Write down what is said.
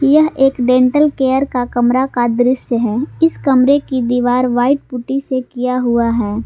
यह एक dental care का कमरा का दृश्य है इस कमरे की दीवार व्हाइट पुट्टी से किया हुआ है।